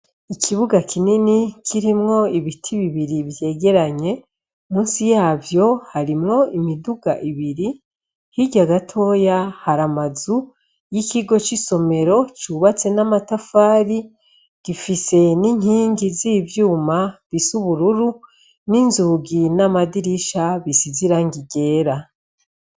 Ikibuga kinini kirimwo ibiti bibiri vyegeranye ; munsi yavyo harimwo imiduga ibiri. Hirya gatoya hari amazu y'ikigo c'isomero cubatse n'amatafari, gifise n'inkingi z'ivyuma bisa ubururu, n'inzugi n'amadirisha bisize irangi ryera.